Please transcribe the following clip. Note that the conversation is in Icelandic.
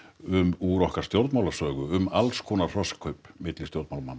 úr okkar stjórnmálasögu um alls konar hrossakaup milli stjórnmálamanna